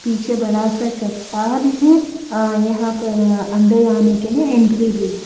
पीछे बड़ा सा चट्टान है अ यहाँ पर अंदर आने के लिए एंट्री भी है।